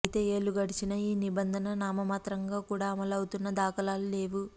అయితే ఏళ్లు గడిచినా ఈ నిబంధన నామమాత్రంగా కూడా అమలవుతున్న దాఖలాలు లేవు